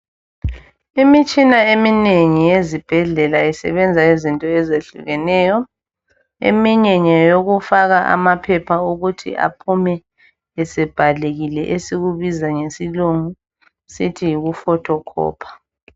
Imitshina eminengi yezibhedlela isebenza izinto ezehlukeneyo. Eminye ngeyokufaka amaphepha ukuthi aphume esebhalekile esikubiza ngesilungu sithi yikufothokhopha.